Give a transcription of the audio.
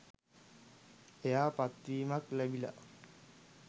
එයා පත්වීමක් ලැබිලා